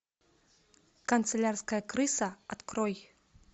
канцелярская крыса открой